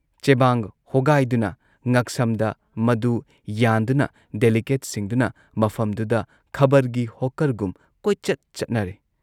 ꯆꯦꯕꯥꯡ ꯍꯣꯒꯥꯏꯗꯨꯅ ꯉꯛꯁꯝꯗ ꯃꯗꯨ ꯌꯥꯟꯗꯨꯅ ꯗꯦꯂꯤꯒꯦꯠꯁꯤꯡꯗꯨꯅ ꯃꯐꯝꯗꯨꯗ ꯈꯕꯔꯒꯤ ꯍꯣꯛꯀꯔꯒꯨꯝ ꯀꯣꯏꯆꯠ ꯆꯠꯅꯔꯦ ꯫